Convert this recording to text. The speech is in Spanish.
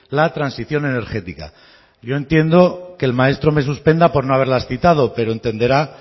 la transición energética yo entiendo que el maestro me suspenda por no haberlas citado pero entenderá